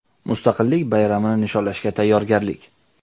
Mustaqillik bayramini nishonlashga tayyorgarlik.